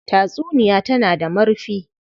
Tatsuniya tana da marufi.